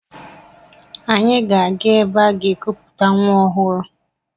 Anyị ga-aga ebe aga-ekuputa nwa ọhụrụ.